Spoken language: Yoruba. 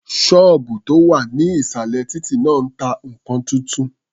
Ṣọ́ọ̀bù tó wà ní ìsàlẹ̀ títí náà ta nǹkan tuntun.